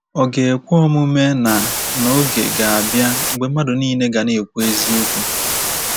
Ọ̀ ga ekwe omume na na oge ga-abịa mgbe mmadụ nile ga na-ekwu eziokwu?